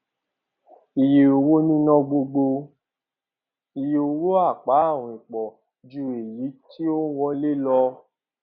iye owó níná gbogbo iye owó apá àwìn pọ ju èyí tí ó wọlé lọ